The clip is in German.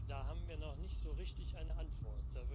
Da haben wir noch nicht so richtig eine Antwort.